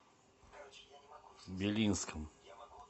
белинском